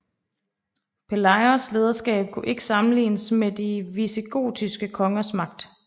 Pelayos lederskab kunne ikke sammenlignes med de visigotiske kongers magt